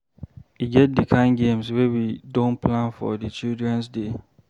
E get di kain games wey we don plan for di Children's Day.